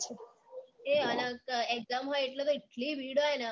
એ અને exam હોય એટલે તો એટલી ભીડ હોય ને